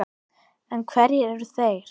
En hverjir eru þeir?